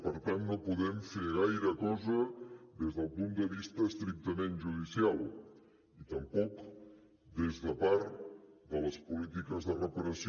per tant no podem fer gaire cosa des del punt de vista estrictament judicial ni tampoc des de part de les polítiques de reparació